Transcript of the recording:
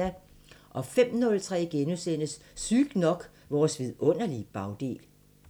05:03: Sygt nok: Vores vidunderlige bagdel *